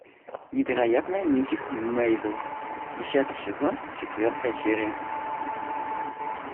невероятная миссис мейзел десятый сезон четвертая серия